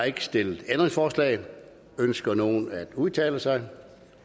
ikke stillet ændringsforslag ønsker nogen at udtale sig